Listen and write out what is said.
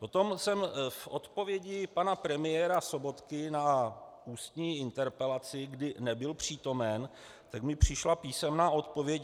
Potom jsem v odpovědi pana premiéra Sobotky na ústní interpelaci, kdy nebyl přítomen, tak mi přišla písemná odpověď.